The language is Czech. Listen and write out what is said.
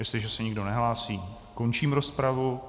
Jestliže se nikdo nehlásí, končím rozpravu.